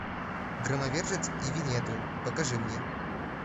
громовержец и виннету покажи мне